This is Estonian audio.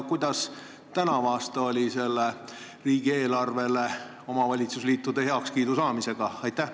Kuidas oli tänavu riigieelarvele omavalitsusliitude heakskiidu saamisega?